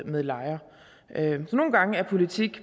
med lejre nogle gange er politik